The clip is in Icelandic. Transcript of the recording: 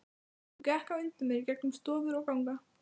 Hún gekk á undan mér í gegnum stofur og ganga.